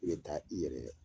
I bɛ taa i yɛrɛ dɛ